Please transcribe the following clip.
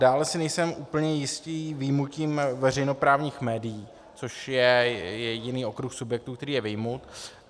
Dále si nejsem úplně jistý vyjmutím veřejnoprávních médií, což je jediný okruh subjektů, který je vyjmut.